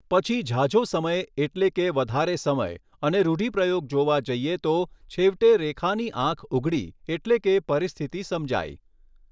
પછી ઝાઝો સમય એટલે કે વધારે સમય અને રૂઢિપ્રયોગ જોવા જઈએ તો છેવટે રેખાની આંખ ઉઘડી એટલે કે પરિસ્થિતિ સમજાઈ